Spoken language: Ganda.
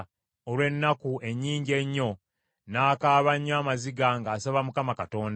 Mu kulumwa olw’ennaku ennyingi ennyo, n’akaaba nnyo amaziga ng’asaba Mukama Katonda.